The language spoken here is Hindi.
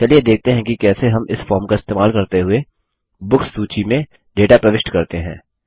चलिए देखते हैं कि कैसे हम इस फॉर्म का इस्तेमाल करते हुए बुक्स सूची में डेटा प्रविष्ट करते हैं